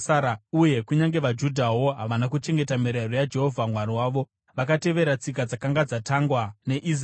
uye kunyange vaJudhawo havana kuchengeta mirayiro yaJehovha Mwari wavo. Vakatevera tsika dzakanga dzatangwa neIsraeri.